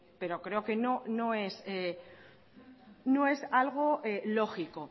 pero creo que no es algo lógico